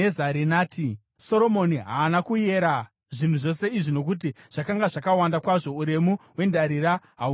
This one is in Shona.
Soromoni haana kuyera zvinhu zvose izvi nokuti zvakanga zvakawanda kwazvo; uremu hwendarira hahuna kuzivikanwa.